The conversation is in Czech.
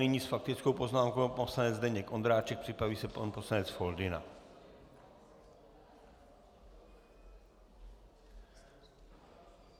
Nyní s faktickou poznámkou pan poslanec Zdeněk Ondráček, připraví se pan poslanec Foldyna.